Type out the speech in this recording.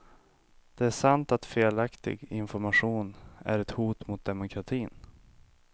Det är sant att felaktig information är ett hot mot demokratin.